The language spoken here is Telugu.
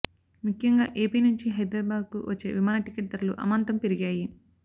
ముఖ్యంగా ఏపీ నుంచి హైదరాబాద్కు వచ్చే విమాన టికెట్ ధరలు అమాంతం పెరిగాయి